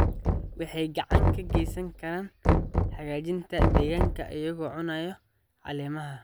Waxay gacan ka geysan karaan hagaajinta deegaanka iyagoo cunaya caleemaha.